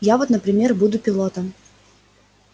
я вот например буду пилотом